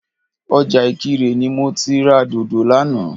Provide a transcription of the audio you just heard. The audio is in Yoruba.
Ọjà ìkirè ni mo ti ra dòdò lánàá